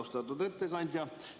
Austatud ettekandja!